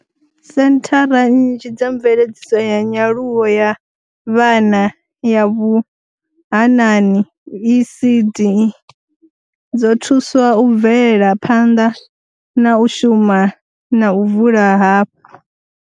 Senthara nnzhi dza mveledziso ya nyaluwo ya vhana ya vhuhanani, ECD, dzo thuswa u bvela phanḓa na u shuma na u vula hafhu.